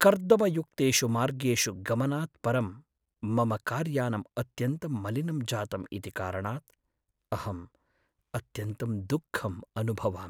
कर्दमयुक्तेषु मार्गेषु गमनात् परं मम कार्यानम् अत्यन्तं मलिनं जातम् इति कारणात् अहं अत्यन्तं दुःखम् अनुभवामि।